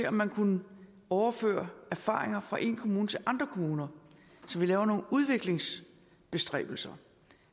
om man kunne overføre erfaringer fra én kommune til andre kommuner så vi laver nogle udviklingsbestræbelser